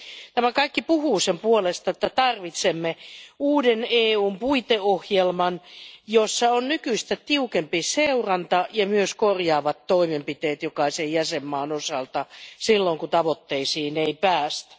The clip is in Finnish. Tämä kaikki puhuu sen puolesta, että tarvitsemme EUn uuden puiteohjelman, jossa on nykyistä tiukempi seuranta ja myös korjaavat toimenpiteet jokaisen jäsenmaan osalta silloin, kun tavoitteisiin ei päästä.